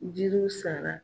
Jiriw sara